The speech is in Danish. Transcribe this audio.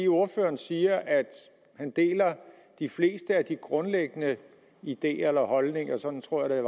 ordføreren siger at han deler de fleste af de grundlæggende ideer eller holdninger sådan tror jeg